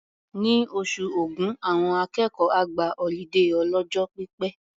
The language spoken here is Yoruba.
Ní oṣù Ògún, àwọn akẹ́kọ̀ọ́ á gba ọlídé ọlọ́jọ́ pípẹ́.